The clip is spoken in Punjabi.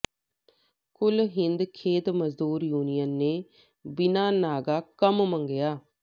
ਕੁਲ ਹਿੰਦ ਖੇਤ ਮਜ਼ਦੂਰ ਯੂਨੀਅਨ ਨੇ ਬਿਨਾਂ ਨਾਗਾ ਕੰਮ ਮੰਗਿਆ